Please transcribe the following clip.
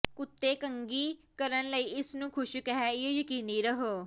ਕੁੱਤੇ ਕੰਘੀ ਕਰਨ ਲਈ ਇਸ ਨੂੰ ਖੁਸ਼ਕ ਹੈ ਇਹ ਯਕੀਨੀ ਰਹੋ